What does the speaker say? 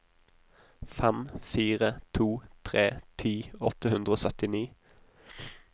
fem fire to tre ti åtte hundre og syttini